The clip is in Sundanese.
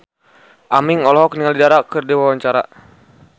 Aming olohok ningali Dara keur diwawancara